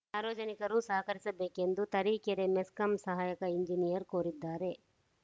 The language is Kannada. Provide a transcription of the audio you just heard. ಸಾರ್ವಜನಿಕರು ಸಹಕರಿಸಬೇಕೆಂದು ತರೀಕೆರೆ ಮೆಸ್ಕಾಂ ಸಹಾಯಕ ಎಂಜಿನಿಯರ್‌ ಕೋರಿದ್ದಾರೆ